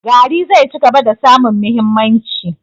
Gari zai cigaba da samun mahimmanci.